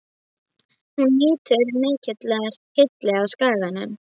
Hún nýtur mikillar hylli á Skaganum.